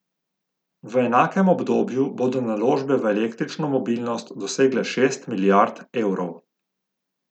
V enakem obdobju bodo naložbe v električno mobilnost dosegle šest milijard evrov.